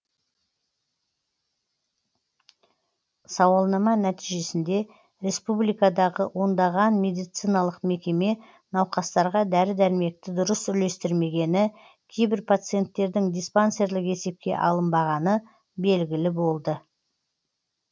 сауалнама нәтижесінде республикадағы ондаған медициналық мекеме науқастарға дәрі дәрмекті дұрыс үлестірмегені кейбір пациенттердің диспансерлік есепке алынбағаны белгілі болды